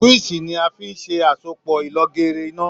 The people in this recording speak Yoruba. Síwíìṣì ni a fi ń ṣe àsopọ̀ ìlọgeere iná